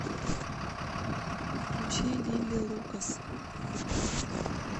включи лили лукас